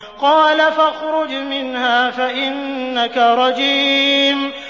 قَالَ فَاخْرُجْ مِنْهَا فَإِنَّكَ رَجِيمٌ